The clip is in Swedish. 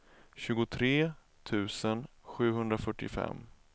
tjugotre tusen sjuhundrafyrtiofem